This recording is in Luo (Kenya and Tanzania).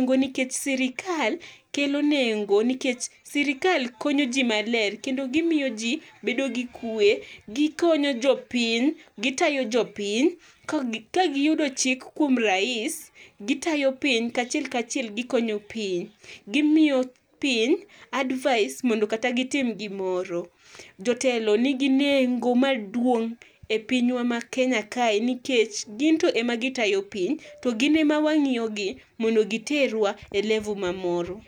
ngo nikech sirkal kelo nengo nikech sirikal konyo ji maler kendo gimiyo ji bedo gi kwe. Giko ne jopiny, gitayo jopiny ka gi ka giyudoji chik kuom rais gitayo piny, kachiel kachiel gikonyo piny. Gimiyo piny advice mondo kata gitim gimoro. Jotelo nigi nengo maduong' e pinywa mar Kenya kae nikech gin to ema gitayo piny to gin ema wang'iyogi mondo giterwa e level[cs| mamoro.